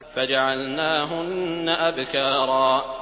فَجَعَلْنَاهُنَّ أَبْكَارًا